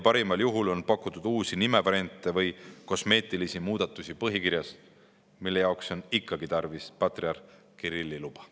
Parimal juhul on pakutud uusi nimevariante või kosmeetilisi muudatusi põhikirjas, mille jaoks on ikkagi tarvis patriarh Kirilli luba.